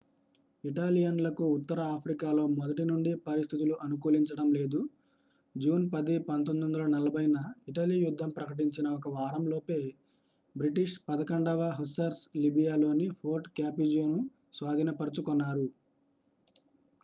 ఇటాలియన్లకు ఉత్తర ఆఫ్రికాలో మొదటినుండి పరిస్థితులు అనుకూలించడం లేదు. జూన్ 10 1940న ఇటలీ యుద్ధం ప్రకటించిన ఒక వారంలోపే బ్రిటిష్ 11వ hussars లిబియాలోని fort capuzzoను స్వాధీనపరచుకొన్నారు